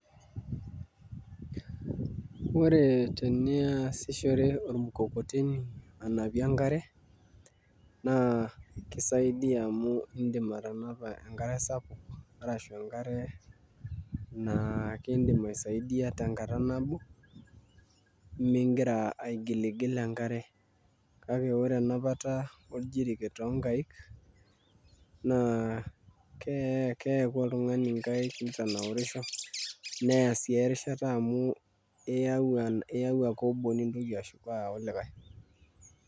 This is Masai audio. Ore teniasishore ormukokoteni anapie enkare, naa kisaidia amu idim atanapa enkare sapuk arashu enkare naa kidim aisaidia tenkata nabo, migira aigilgil enkare. Kake ore enapata ojiriket tonkaik, naa keeku oltung'ani nkaik nitanaurisho, neya si erishata amu iyau ake obo nintoki ashuko ayau likae.